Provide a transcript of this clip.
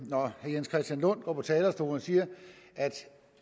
herre jens christian lund går på talerstolen og siger at